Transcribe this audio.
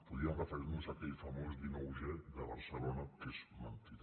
podríem referir nos a aquell famós dinou g de barcelona que és mentida